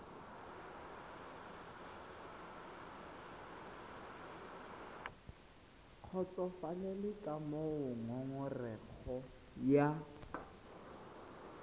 kgotsofalele ka moo ngongorego ya